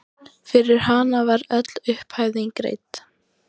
Fyrir hana var öll upphæðin greidd.